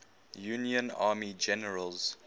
union army generals